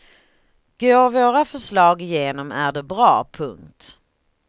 Går våra förslag igenom är det bra. punkt